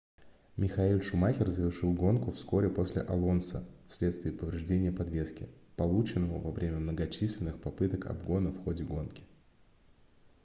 михаэль шумахер завершил гонку вскоре после алонсо в следствие повреждения подвески полученного во время многочисленных попыток обгона в ходе гонки